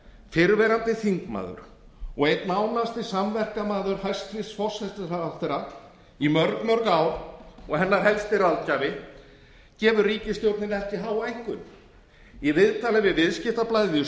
fyrrverandi þingmaður og einn nánasti samverkamaður hæstvirtur forsætisráðherra í mörg mörg ár og hennar helsti ráðgjafi gefur ríkisstjórninni ekki háa einkunn í viðtali við viðskiptablaðið í